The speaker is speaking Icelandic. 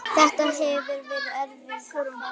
Þetta hefur verið erfið ferð.